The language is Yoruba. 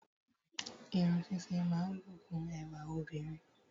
Irun ṣíṣe máa ń bùkún ẹwà obìnrin